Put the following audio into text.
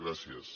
gràcies